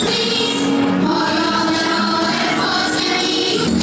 Deyir, Haqq Əli, Haqq Əli!